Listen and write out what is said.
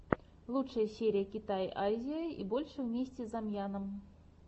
лучшая серия китай азия и больше вместе с замьянов